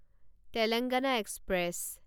Telangana express